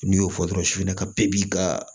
N'i y'o fɔ dɔrɔn sugunɛ ka bɛɛ b'i ka